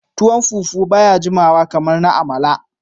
Tuwon fufu baya jimawa kamar na amala.